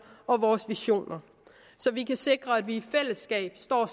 og vores visioner så vi kan sikre at vi i fællesskab står